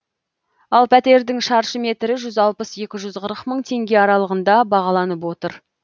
ал пәтердің шаршы метрі жүз алпыс екі жүз қырық мың теңге аралығында бағаланып отыр